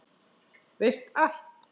Veist allt.